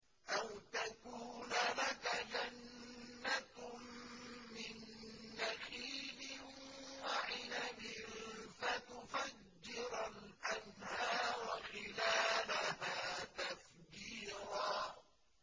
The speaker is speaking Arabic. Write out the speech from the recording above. أَوْ تَكُونَ لَكَ جَنَّةٌ مِّن نَّخِيلٍ وَعِنَبٍ فَتُفَجِّرَ الْأَنْهَارَ خِلَالَهَا تَفْجِيرًا